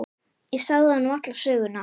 Ég sagði honum alla söguna.